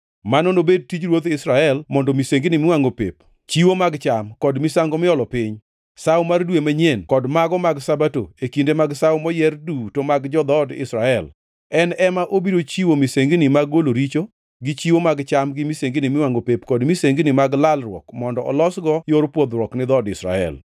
Mano nobedi tij ruodh Israel mondo misengini miwangʼo pep, chiwo mag cham kod misango miolo piny, Sawo mar Dwe manyien kod mago mag Sabato e kinde mag sawo moyier duto mag jo-dhood Israel. En ema obiro chiwo misengini mag golo richo, gi chiwo mag cham gi misengini miwangʼo pep kod misengini mag lalruok mondo olosgo yor pwodhruok ni dhood Israel.